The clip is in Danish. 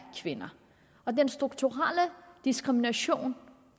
kvinder den strukturelle diskrimination